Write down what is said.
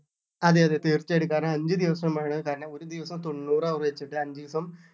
അതെ അതെ തീർച്ചയായിട്ടും കാരണം അഞ്ച് ദിവസം വേണം കാരണം ഒരു ദിവസം തൊണ്ണൂറ് over വെച്ചിട്ട് അഞ്ച് ദിവസം